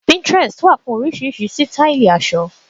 Pinterest wà fún oríṣiríṣi sítáílì aṣọ.